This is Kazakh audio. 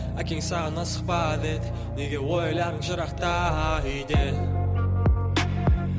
әкең саған асықпа деді неге ойларың жырақта үйден